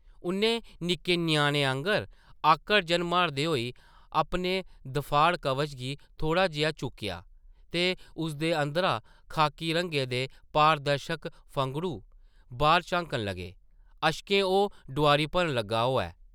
उʼन्नै निक्के ञ्याणे आंगर आकड़-जन मारदे होई अपने दफाड़ कवच गी थोह्ड़ा जेहा चुक्केआ ते उसदे अंदरा खाखी रंगै दे पारदर्शक फंघड़ू बाह्र झांकन लगे, अश्कें ओह् डोआरी भरन लग्गा होऐ ।